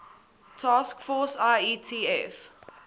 task force ietf